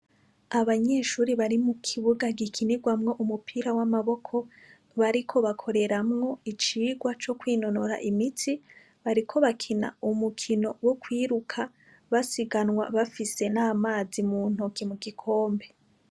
Abanyeshure bari mu kibuga gikinirwamwo umupira w'amaboko bariko bakoreramwo icigwa co kwinonora imitsi. Bariko bakina umukino wo kwiruka basiganwa bafise n'amazi mu ntoke mu gikombe.